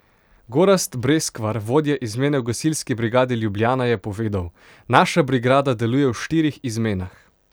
Gorazd Breskvar, vodja izmene v Gasilski brigadi Ljubljana, je povedal: "Naša brigada deluje v štirih izmenah.